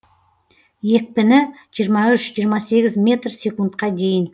екпіні жиырма үш жиырма сегіз метр секундқа дейін